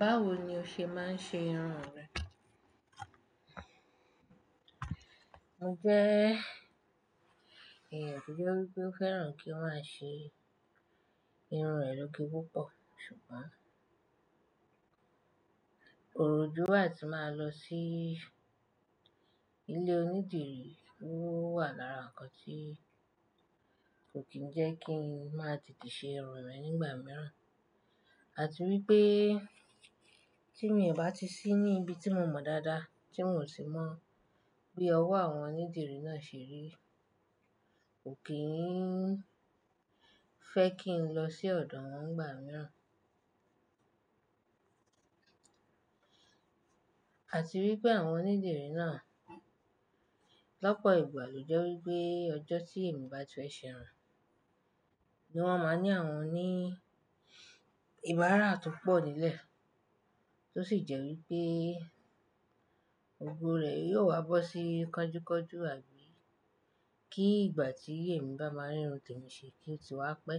Báwo ni o ṣe máa ń ṣe irun rẹ? Mo jẹ́ èyan tó jẹ́ wípé ó fẹ́ràn kí wọ́n máa ṣe irun rẹ̀ lógè púpọ̀. Ṣùgbọ́n, òroju a tí máa lọ sí ilé onídìrí owà lára nka tí kò kí ń jẹ́ kí n má tètè ṣe irun mi nígbà mìíràn. Àti wípé tí mi ò bá ti sí ní ibi tí mo mọ̀ dáadáa tí mi o sì mọ bí ọwọ́ àwọn onídìrí náà ṣe rí, kò kí ń fẹ́ kí n lọ sí ọ̀dọ̀ wọn nígbà mìí. Àti wípé àwọn onídìrí náà lọ́pọ̀ ìgbà ló jẹ́ wípé ọjọ́ tí èmi bá ti fẹ́ ṣe irun ni wón máa ní àwọn oní ìbára to pọ̀ nílẹ̀ tó sì jẹ́ wípé gbogbo rẹ̀ yóò wá bọ́ sí kánjúkánjú, àbí kí ìgbà tí èmi bá máa rí irun temi ṣe kí ó ti wá pẹ́.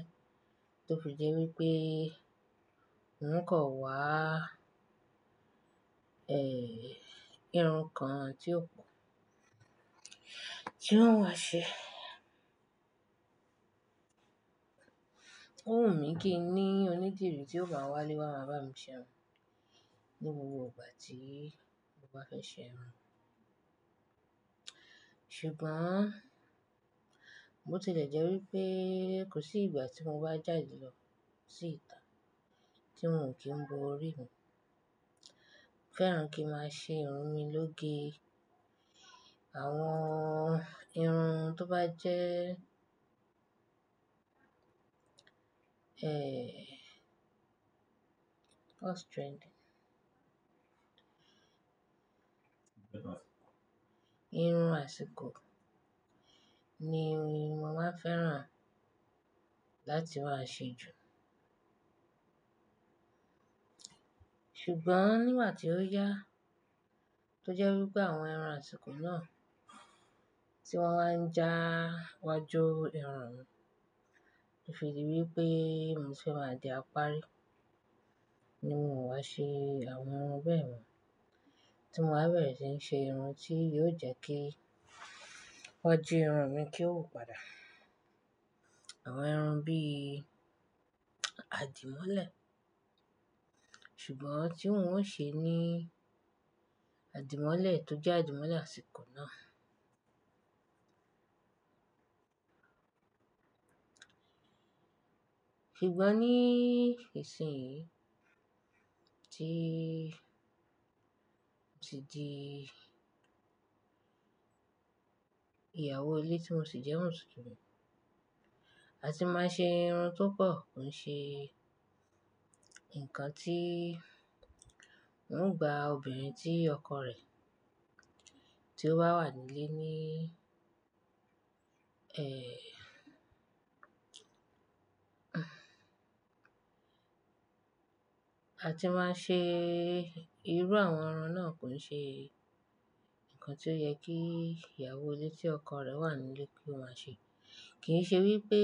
Tó fi jẹ́ wípé won o kan wá, ẹ́, irun kan tí ó kún tí won o ṣe. Ó wù mí kín ní onídìrí tí ó máa wà ile wa bá mi ṣe irun ní gbogbo ìgbà tí mo bá fẹ́ ṣe irun. Ṣùgbọ́n, bò ti lẹ̀ jẹ́ wípé kò sí ìgbà tí mo bá jáde lọ sí ìta tí m i o kí ń bo orí mi. Mo fẹ́ràn kí n máa ṣe irun mi lógè. Àwọn irun tó bá jẹ́, ẹ́, what's trending? Irun àsìkò ni mo màá n fẹ́ràn láti máa ṣe jù. Ṣùgbọ́n nígbà tí ó yá tó jẹ́ wípé àwọn irun àsìkò náà tí wón wa ń já iwájú irun mi. Ó fi dí wípé mò ń fẹ́ máa di apárí ní mi o wá ṣe àwọn irun bẹ́yen, tí mò wa bẹ̀rẹ̀ sí n ṣe irun tí yóò jẹ́ kí iwaju irun mi kí ó wu padà. Àwọn irun bí àdìmọ́lẹ̀. Ṣùgbọ́n tí ń o ṣe ní àdìmọ́lẹ̀ tó jẹ́ àdìmọ́lẹ̀ àsìkò náà. Ṣùgbọ́n ní ìsìn yìí tí mo ti di ìyàwó ilé tí mò sì jẹ́ Mùsùlùmí. A ti máa ṣe irun tó pọ̀ kò ń ṣe nkan tí n gba obìnrin tí ọkọ rẹ̀ tí ó bá wà nílé ní, ẹ́, a ti máa ṣe irú àwọn irun náà kò ń ṣe nkan tí ó yẹ kí ìyàwó ilé tí ọkọ rẹ̀ wà nílé kí ó má ṣe. Kì í ṣe wípé,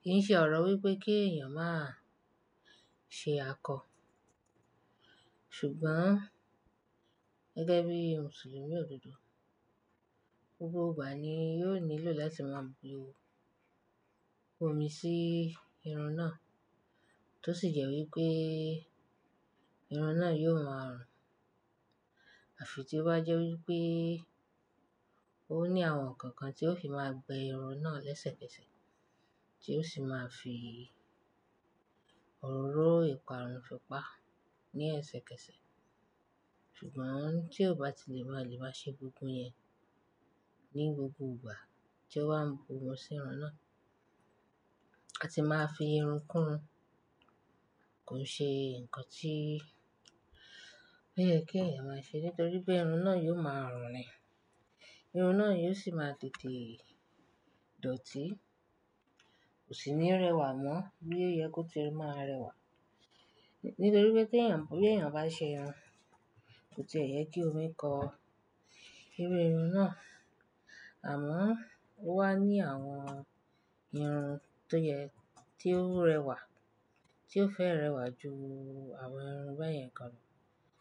kì í ṣe ọ̀rọ̀ wípé kí èèyàn máa ṣe akọ. Ṣùgbọ́n gẹ́gẹ́ bí Mùsùlùmí òdodo, gbogbo ìgbà ni yóò nílò láti máa bu omi sí irun náà tó sì jẹ́ wípé irun náà yóò máa rùn. Àfi tí ó bá jẹ́ wípé ó ní àwọn nkan kan tí ó fi máa gbe irun náà lẹ́sẹ̀kẹsẹ̀ tí ó sì máa fi òróró ìparun fi pa ní ẹsẹkẹsẹ. Ṣùgbọ́n tí ó bá ti lè máa lè máa ṣe gbogbo yẹn ní gbogbo ìgbà tí ó wa ń bu omi sí irun náà, a ti máa fi irun kún ún. Kò ń ṣe nkan tí ó yẹ kí èèyàn máa ṣe nítorí pé irun náà yóò máa rùn ni. Irun náà yóò sì máa tètè dọ̀tí, kò sì ní rẹwà mọ́ bí o ye kó tí ì máa rẹwà. Nítorí pé tí èèyàn bá ṣe irun, kò tì e yẹ kí omi kan iru irun náà. Àmọ́ ó wà ní àwọn irun tó yẹ, tí ó rẹwà tí ó fẹ́ rẹwà ju àwọn irun bẹ́yẹn kan lọ.